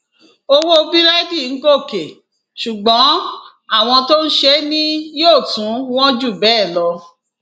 owó búrẹdì ń gòkè ṣùgbọn àwọn tó ń ṣe é ni yóò tún wọn jù bẹẹ lọ